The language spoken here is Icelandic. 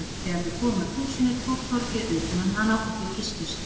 Þegar þau komu að húsinu tók Þorgeir utan um hana og þau kysstust.